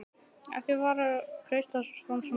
Ekki vera að kreista fram svona bros!